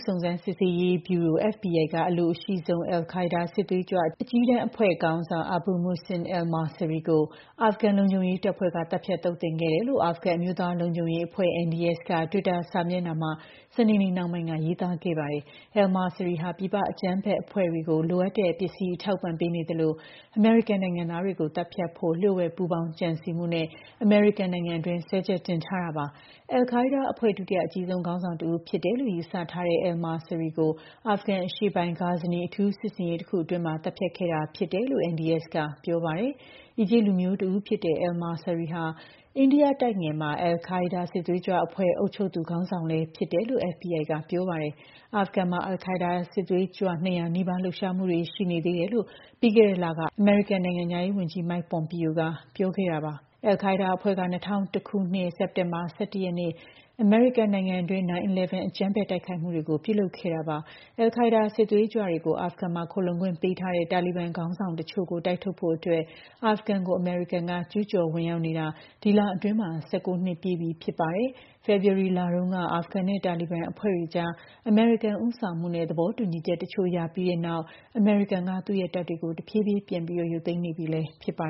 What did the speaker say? စုံစမ်းစစ်ဆေးရေးဗျုရို FBI က အလိုအရှိဆုံး al Qaeda စစ်သွေးကြွ အကြီးတန်းအဖွဲ့ခေါင်းဆောင် Abu Muhsin al-Masri ကို အာဖဂန် လုံခြုံရေးတပ်ဖွဲ့က သတ်ဖြတ်သုတ်သင်ခဲ့တယ်လို့ အာဖဂန် အမျိုးသားလုံခြုံရေးအဖွဲ့ (NDS) က တွစ်တာစာမျက်နှာမှာ စနေနေ့နှောင်းပိုင်းက ရေးသားခဲ့ပါတယ်။ Al-Masri ဟာ ပြည်ပအကြမ်းဖက်အဖွဲ့တွေကို လိုအပ်တဲ့ ပစ္စည်းအထောက်အပံ့ ပေးနေသလို အမေရိကန်နိုင်ငံသားတွေကို သတ်ဖြတ်ဖို့ လျှို့ဝှက်ပူးပေါင်း ကြံစည်မှုနဲ့ အမေရိကန်နိုင်ငံတွင်း စွဲချက်တင်ထားတာပါ။ al Qaeda အဖွဲ့ ဒုတိယ အကြီးဆုံးခေါင်းဆောင်တဦး ဖြစ်တယ်လို့ ယူဆထားတဲ့ Al-Masri ကို အာဖဂန် အရှေ့ပိုင်း Ghazni အထူးစစ်ဆင်ရေး တခုအတွင်း သတ်ဖြတ်ခဲ့တာဖြစ်တယ်လို့ NDS က ပြောပါတယ်။ အီဂျစ်လူမျိုးတဦးဖြစ်တဲ့ Al-Masri ဟာ အိန္ဒိယကျွန်းဆွယ်တဝိုက် al Qaeda စစ်သွေးကြွအဖွဲ့ အုပ်ချုပ်သူ ခေါင်းဆောင်လည်းဖြစ်တယ်လို့ FBI က ပြောပါတယ်။ အာဖဂန်မှာ al Qaeda စစ်သွေးကြွ ၂၀၀ နီးပါး လှုပ်ရှားမှုတွေ ရှိနေသေးတယ်လို့ ပြီးခဲ့တဲ့လကပဲ အမေရိကန် နိုင်ငံခြားရေးဝန်ကြီး Mike Pompeo က ပြောခဲ့တာပါ။ al Qaeda အဖွဲ့က ၂၀၀၁ ခုနှစ် စက်တင်ဘာ ၁၁ ရက်နေ့ အမေရိကန်နိုင်ငံတွင်း 9/11 အကြမ်းဖက်တိုက်ခိုက်မှုတွေကို ပြုလုပ်ခဲ့တာပါ။ al Qaeda စစ်သွေးကြွတွေကို အာဖဂန်မှာ ခိုလှုံခွင့်ပေးထားတဲ့ တာလီဘန်ခေါင်းဆောင်တချို့ကို တိုက်ထုတ်ဖို့အတွက် အာဖဂန်ကို အမေရိကန်က ကျူးကျော်ဝင်ရောက်နေတာ ဒီလအတွင်း ၁၉ နှစ်ပြည့်ပြီလည်း ဖြစ်ပါတယ်။ ဖေဖော်ဝါရီလတုန်းက အာဖဂန်နဲ့ တာလီဘန်အဖွဲ့တွေကြား အမေရိကန် ဦးဆောင်မှုနဲ့ သဘောတူညီချက်တချို့ ရပြီးတဲ့နောက် အမေရိကန်က သူ့ရဲ့တပ်တွေကို တဖြည်းဖြည်း ပြန်ပြီး ရုပ်သိမ်းနေပြီလည်း ဖြစ်ပါ